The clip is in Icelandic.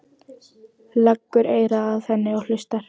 Leggur eyra að henni og hlustar.